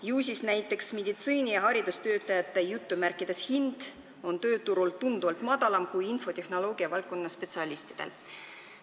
Ju siis on näiteks meditsiini- ja haridustöötajate "hind" tööturul tunduvalt madalam kui infotehnoloogia valdkonna spetsialistidel.